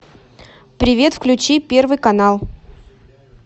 привет включи первый канал